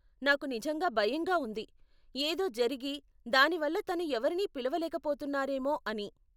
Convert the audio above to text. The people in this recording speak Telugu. నాకు నిజంగా భయంగా ఉంది, ఏదో జరిగి, దానివల్ల తను ఎవరిని పిలవలేక పోతున్నారేమో అని .